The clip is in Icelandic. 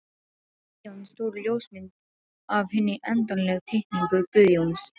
Fylgdi síðan stór ljósmynd af hinni endanlegu teikningu Guðjóns.